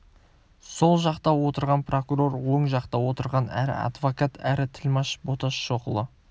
сол жақта отырған прокурор оң жақта отырған әрі адвокат әрі тілмаш боташ шоқұлы